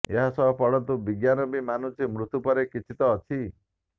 ଏହାସହ ପଢନ୍ତୁ ବିଜ୍ଞାନ ବି ମାନୁଛି ମୃତ୍ୟୁ ପରେ କିଛି ତ ଅଛି